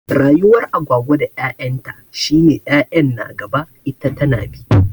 Rayuwar Agwagwa da 'ya'yan ta shi ne 'ya'yan na gaba ita tana bi.